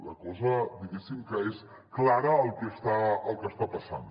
la cosa diguéssim que és clara el que està passant